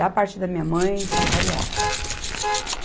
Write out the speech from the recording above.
Da parte da minha mãe, são cariocas.